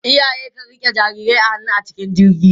Iyaye kan riƙe jarirai a hannu a cikin jirgi.